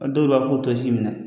ɔ dɔw yɛrɛw b'a k'u t'o si minɛ.